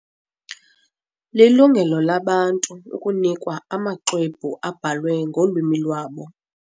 Lilungelo labantu ukunikwa amaxwebhu abhalwe ngolwimi lwabo.